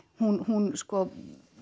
hún hún sko